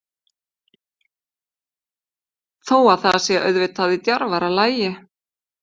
Þó að það sé auðvitað í djarfara lagi.